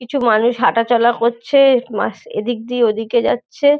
কিছু মানুষ হাঁটাচলা করছে মাস এদিক দিয়ে ওদিকে যাচ্ছে।